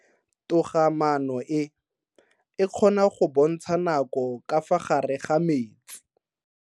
Toga-maano e, e kgona go bontsha nako ka fa gare ga metsi.